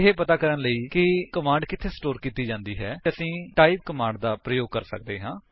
ਇਹ ਪਤਾ ਕਰਨ ਲਈ ਕਿ ਕਮਾਂਡ ਕਿੱਥੇ ਸਟੋਰ ਕੀਤੀ ਹੈ ਅਸੀਂ ਟਾਈਪ ਕਮਾਂਡ ਦਾ ਪ੍ਰਯੋਗ ਕਰ ਸਕਦੇ ਹਾਂ